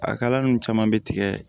A kala nu caman bɛ tigɛ